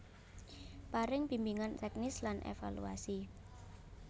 Paring bimbingan teknis lan evaluasi